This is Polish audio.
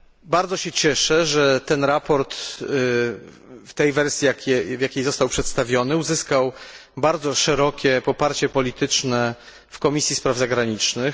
Bardzo się cieszę, że to sprawozdanie w tej wersji, w jakiej zostało przedstawione uzyskało bardzo szerokie poparcie polityczne w Komisji Spraw Zagranicznych.